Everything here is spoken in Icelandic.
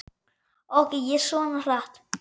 Ók ég svona hratt?